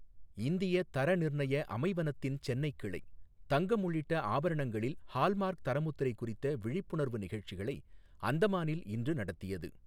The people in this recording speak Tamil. இந்திய தர நிர்ணய அமைவனத்தின் சென்னை கிளை, தங்கம் உள்ளிட்டஆபரணங்களில் ஹால்மார்க் தரமுத்திரை குறித்த விழிப்புணர்வு நிகழ்ச்சிகளை அந்தமானில்இன்று நடத்தியது